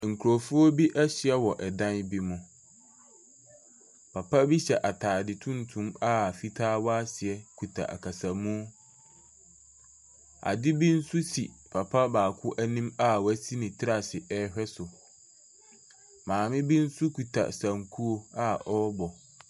Nkurɔfoɔ bi ahyia wɔ dan bi mu. Papa bi hyɛ atade tuntum a fitaa wɔ aseɛ kuta akasamu. Ade bi nso si papa baako anim a wasi ne tiri ase rehwɛ so. Maame bi nso kuta sankuo a ɔrebɔ.